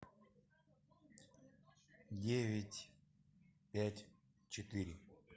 девять пять четыре